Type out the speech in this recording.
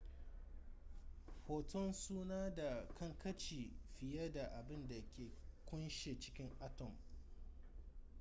photons suna da kankanci fiye da abin da ke kunshe cikin atom